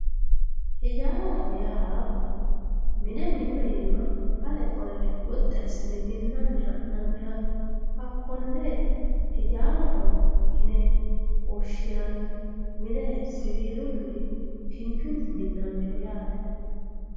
hijaaraho yaa mine minu aana ale qolle minnanni ha'naniha hakkonne hijaaraho yine woshshinanni mine siwiilunni kinchunni minnanniho yaate.